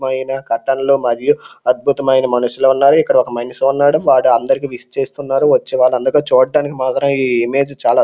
మైన కట్టన్లు మరియు అద్భుతమైన మనుషులున్నారు ఇక్కడ ఒక మనిషి ఉన్నాడు వాడు అందరికి విష్ చేస్తున్నారు వచ్చేవాళ్ళందరకు చూడ్డానికి మాత్రం ఈ ఇమేజ్ చాలా --